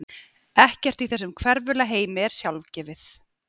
Ekkert í þessum hverfula heimi er sjálfgefið.